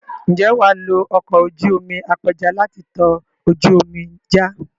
Ǹjẹ́ wà á lo ọkọ̀ ojú omi apẹja láti tọ ojú omi já?